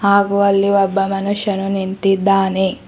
ಹಾಗು ಅಲ್ಲಿ ಒಬ್ಬ ಮನುಷ್ಯನು ನಿಂತಿದ್ದಾನೆ.